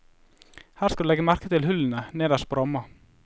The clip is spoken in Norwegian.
Her skal du legge merke til hullene nederst på ramma.